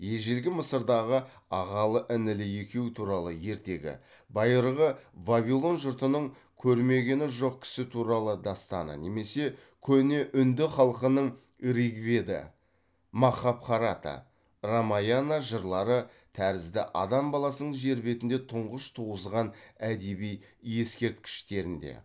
ежелгі мысырдағы ағалы інілі екеу туралы ертегі байырғы вавилон жұртының көрмегені жоқ кісі туралы дастаны немесе көне үнді халқының ригведа махабхарата рамаяна жырлары тәрізді адам баласының жер бетінде тұңғыш туғызған әдеби ескерткіштерінде